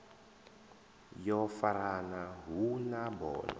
yo farana hu na bono